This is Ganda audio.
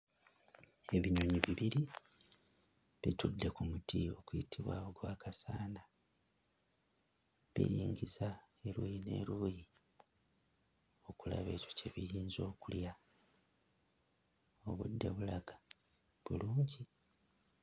Ebinyonyi bibiri bitudde ku muti guyitibwa gwa kasanda biringiza eruuyi n'eruuyi okulaba ekyo kye biyinza okulya; obudde bulaga bulungi.